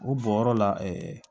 O bɔyɔrɔ la